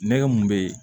Nɛgɛ mun bɛ ye